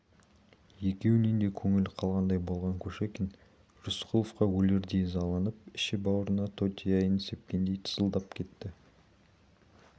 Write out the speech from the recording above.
екеуінен де көңілі қалғандай болған кушекин рысқұловқа өлердей ызаланып іші-бауырына тотияйын сепкендей тызылдап кетті